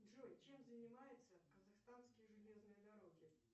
джой чем занимаются казахстанские железные дороги